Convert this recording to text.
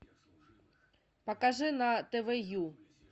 покажи на тв ю